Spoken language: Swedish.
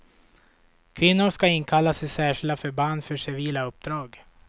Kvinnor ska inkallas till särskilda förband för civila uppdrag.